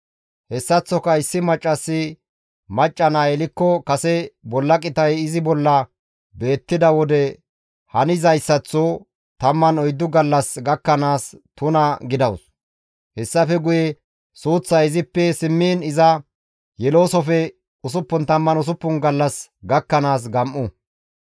« ‹Hessaththoka issi maccassi macca naa yelikko kase bolla qitay izi bolla beettida wode hanizayssatho 14 gallas gakkanaas tuna gidawus; hessafe guye suuththay izippe simmiin iza yeloosofe 66 gallas gakkanaas gam7u.